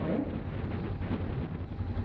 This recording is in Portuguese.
Oi? Onde foi o encontro?